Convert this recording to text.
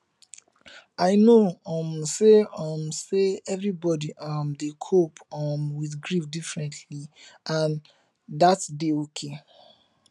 i know um say um say everybody um dey cope um with grief differently and dat dey okay